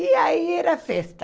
E aí era festa.